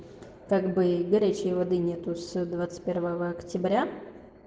так бы и горячей воды нету с двадцать первого октября